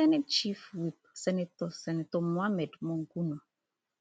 senate chief whip senator senator mohammed monguno